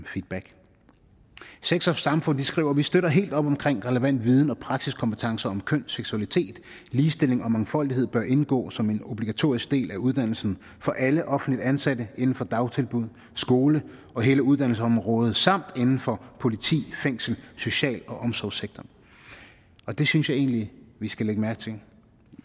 feedback sex og samfund skriver vi støtter helt op omkring at relevant viden og praksiskompetencer om køn seksualitet ligestilling og mangfoldighed bør indgå som en obligatorisk del af uddannelsen for alle offentligt ansatte inden for dagtilbud skole og hele uddannelsesområdet samt inden for politi fængsler social og omsorgssektoren det synes jeg egentlig vi skal lægge mærke til